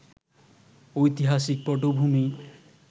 ঐতিহাসিক পটভূমি